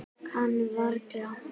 Kann varla.